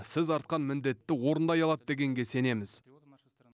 сіз артқан міндетті орындай алады дегенге сенеміз